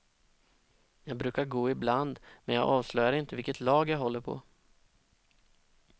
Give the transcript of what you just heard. Jag brukar gå ibland, men jag avslöjar inte vilket lag jag håller på.